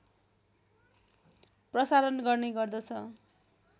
प्रसारण गर्ने गर्दछ